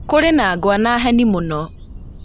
Kũrĩ na ngwa na heni mũno